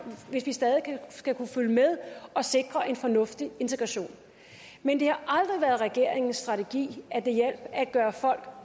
hvis vi stadig skal kunne følge med og sikre en fornuftig integration men det har aldrig været regeringens strategi at det hjalp at gøre folk